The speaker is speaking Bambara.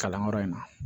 Kalanyɔrɔ in na